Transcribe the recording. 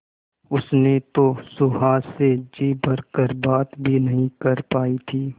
उसने तो सुहास से जी भर कर बात भी नहीं कर पाई थी